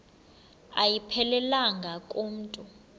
ayiphelelanga ku mntu